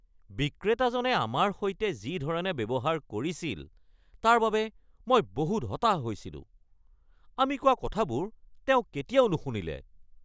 বিক্ৰেতাজনে আমাৰ সৈতে যি ধৰণে ব্যৱহাৰ কৰিছিল তাৰ বাবে মই বহুত হতাশ হৈছিলোঁ, আমি কোৱা কথাবোৰ তেওঁ কেতিয়াও নুশুনিলে।